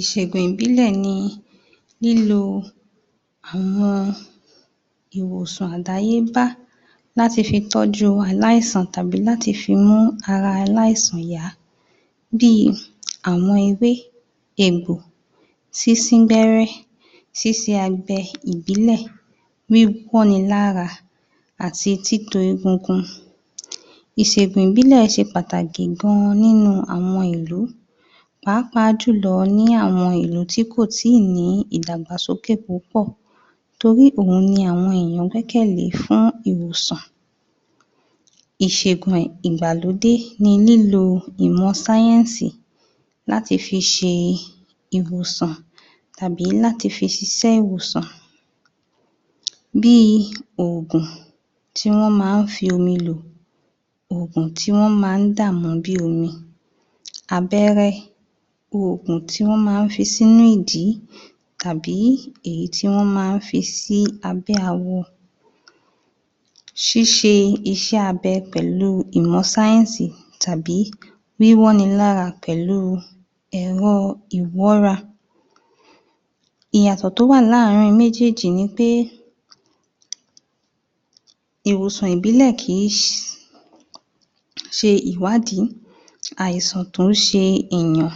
Ìṣègùn ìbílẹ̀ ni lílo àwọn ìwòsàn àdáyébá, láti fi tọ́jú aláìsàn tàbí láti fi mú ara aláìsàn yá, bí àwọn ewé, egbò, sínsín gbẹ́rẹ́, sínsín agbẹ ìbílẹ̀, wíwọ́ni lára àti títo egungun. Ìṣègùn ìbílẹ̀ ṣe pàtàkì gan-an nínú àwọn ìlú pàápàá jùlọ ní àwọn ìlú tí kò ì tí ì ní ìdàgbàsókè púpọ̀ torí òun ni àwọn èyàn gbẹ́kẹ̀ lé fún ìwòsàn. Ìṣègùn ìgbàlódé ni lílo ìmọ̀ láti fi ṣe ìwòsàn àbí láti fi ṣiṣẹ́ ìwòsàn bí ògùn tí wọ́n máa ń fi omi lò, ògùn tí wọ́n máa ń dà mu bí omi, abẹ́rẹ́, ògùn tí wọ́n máa ń fi sínú ìdí tàbí èyí tí wọ́n máa ń fi sí abẹ́ awọ, ṣíṣe iṣẹ́ abẹ pẹ̀lú ìmọ̀ tàbí wíwọ́ni lára pẹ̀lú ẹ̀rọ ìwọ́ra. Ìyàtọ̀ tó wà láàrin méjèjì ni pé ìwòsàn ìbílẹ̀ kì í ṣe ìwádìí àìsàn tó ń ṣe ẹ̀yàn,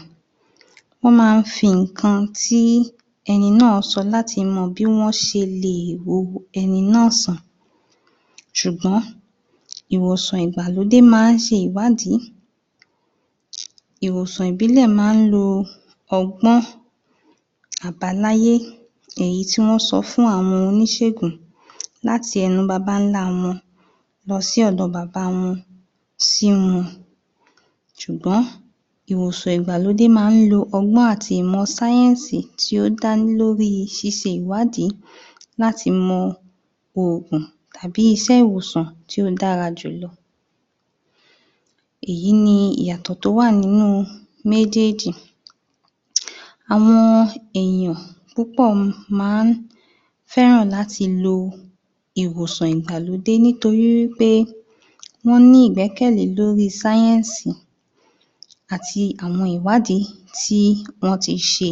wọ́n máa ń fi nǹkan tí ẹni náà sọ láti mọ bí wọ́n ṣe lè wo ẹni náà sàn, ṣùgbọ́n ìwòsàn ìgbàlódé máa ń ṣe ìwádìí, ìwòsàn ìbílẹ̀ máa ń lo ọgbọ́n àbáláyé èyí tí wọ́n sọ fún àwọn oníṣègùn láti ẹnu babáńlá wọn, lọ sí ọ̀dọ̀ bàbá wọn, sí wọn ṣùgbọ́n ìwòsàn ìgbàlódé máa ń lo ọgbón àti ìmọ̀ tí ó dá lé lórí ṣíṣe ìwádìí láti mọ ògùn tábi iṣẹ́ iwòsàn tí ó dára jùlọ. Èyí ni ìyàtọ̀ tó nínú méjèjì, àwọn è yàn púpọ̀ máa ń fẹ́ràn láti lo ìwòsàn ìgbàlódé nítorí wí pé wọ́n ní ìgbẹ́kẹ̀lé lórí àti àwọn ìwádìí tí wọ́n ti ṣe.